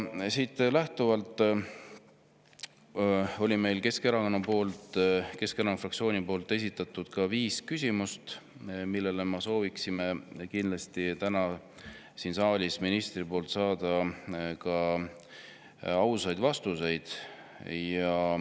Sellest lähtuvalt on Keskerakonna fraktsioon esitanud viis küsimust, millele me sooviksime kindlasti täna siin saalis ministrilt saada ausaid vastuseid.